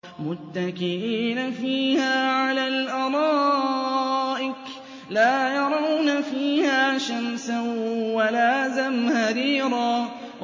مُّتَّكِئِينَ فِيهَا عَلَى الْأَرَائِكِ ۖ لَا يَرَوْنَ فِيهَا شَمْسًا وَلَا زَمْهَرِيرًا